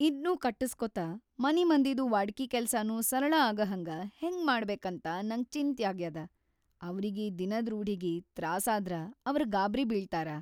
ಇದ್ನೂ ಕಟ್ಟಸ್ಕೋತ ಮನಿಮಂದಿದು ವಾಡಕಿ ಕೆಲ್ಸಾನೂ ಸರಳ ಆಗಹಂಗ ಹೆಂಗ್ ಮಾಡ್ಬೇಕಂತ ನಂಗ್ ಚಿಂತ್ಯಾಗ್ಯಾದ. ಅವ್ರಿಗಿ ದಿನದ್‌ ರೂಢಿಗಿ ತ್ರಾಸಾದ್ರ ಅವ್ರ್ ಗಾಬ್ರಿ ಬೀಳ್ತಾರ.